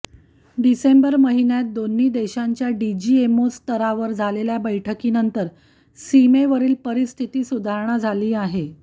डिसेंबर महिन्यात दोन्ही देशांच्या डीजीएमओ स्तरावर झालेल्या बैठकीनंतर सीमेवरील परिस्थिती सुधारणा झाली आहे